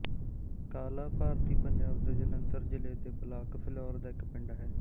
ਕਾਲਾ ਭਾਰਤੀ ਪੰਜਾਬ ਦੇ ਜਲੰਧਰ ਜ਼ਿਲ੍ਹੇ ਦੇ ਬਲਾਕ ਫਿਲੌਰ ਦਾ ਇੱਕ ਪਿੰਡ ਹੈ